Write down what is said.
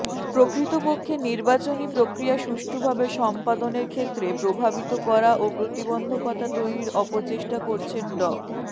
প্রকৃতপক্ষে নির্বাচনী প্রক্রিয়া সুষ্ঠুভাবে সম্পাদনের ক্ষেত্রে প্রভাবিত করা ও প্রতিবন্ধকতা তৈরির অপচেষ্টা করেছেন ড